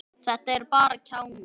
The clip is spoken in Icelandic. Þetta eru bara kjánar.